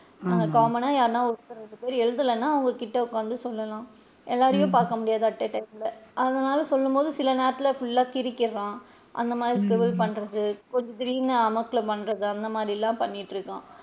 Common னா ஒருத்தர் ரெண்டு பேர் எழுதலைன்னா அவுங்க கிட்ட உட்காந்து சொல்லலாம் எல்லாரையும் பாக்க முடியாது at a time ல அதனால சொல்லும் போது சில நேரத்துல full லா சிரிக்கிறான் அந்த மாதிரி பண்றது கொஞ்சம் திடீர்ன்னு அமக்கலம் பண்றது அந்த மாதிரிலா பண்ணிட்டு இருக்கான்.